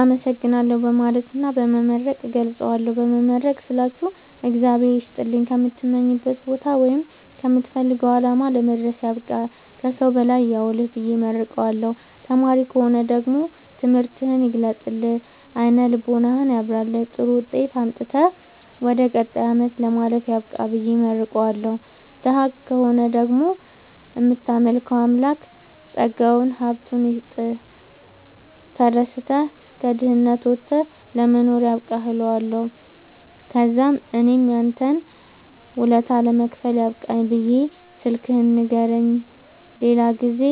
አመሠግናለሁ በማለትና በመመረቅ እገልፃለሁ። በመመረቅ ስላችሁ እግዚአብሄር ይስጥልኝ ከምትመኘዉ ቦታወይም ከምትፈልገዉ አላማ ለመድረስያብቃህ ከሠዉ በላይ ያዉልህብየ እመርቀዋለሁ። ተማሪ ከሆነ ደግሞ ትምህርትህን ይግለጥልህ አይነ ልቦናህን ያብራልህ ጥሩዉጤት አምጥተህ ወደ ቀጣይ አመት ለማለፍ ያብቃህ ብየ እመርቀዋለሁ። ደሀ ከሆነ ደግሞ እምታመልከዉ አምላክ ጠጋዉን ሀብቱይስጥህ ተደስተህ ከድህነት ወተህ ለመኖር ያብቃህእለዋለሁ። ተዛምእኔም ያንተን ወለታ ለመክፈል ያብቃኝ ብየ ስልክህን ንገረኝ የሌላ ጊዜ